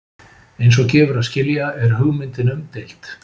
Eins og gefur að skilja er hugmyndin umdeild.